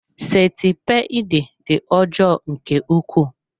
Sentipiid dị ọjọọ nke ukwuu.